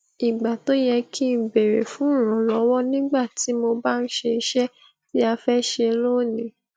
ìgbà tó yẹ kí n béèrè fún ìrànlọwọ nígbà tí mo bá ń ṣe iṣẹ tí a fẹ ṣe lónìí